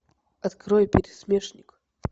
открой пересмешник